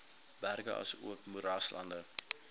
berge asook moeraslande